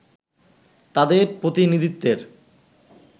তাদের প্রতিনিধিত্বের